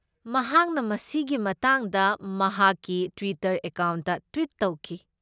ꯃꯍꯥꯛꯅ ꯃꯁꯤꯒꯤ ꯃꯇꯥꯡꯗ ꯃꯍꯥꯛꯀꯤ ꯇ꯭ꯋꯤꯇꯔ ꯑꯦꯀꯥꯎꯟꯠꯇ ꯇ꯭ꯋꯤꯠ ꯇꯧꯈꯤ ꯫